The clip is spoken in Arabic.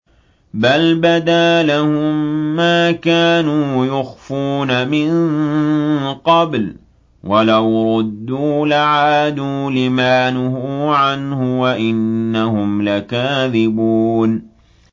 بَلْ بَدَا لَهُم مَّا كَانُوا يُخْفُونَ مِن قَبْلُ ۖ وَلَوْ رُدُّوا لَعَادُوا لِمَا نُهُوا عَنْهُ وَإِنَّهُمْ لَكَاذِبُونَ